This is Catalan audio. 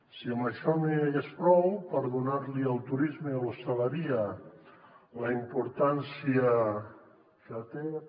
si amb això no n’hi hagués prou per donar li al turisme i a l’hostaleria la importància que tenen